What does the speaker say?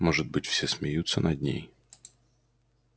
может быть все смеются над ней